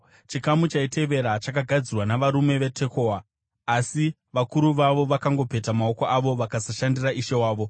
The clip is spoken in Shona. Chikamu chaitevera chakagadzirwa navarume veTekoa, asi vakuru vavo vakangopeta maoko avo vakasashandira Ishe wavo.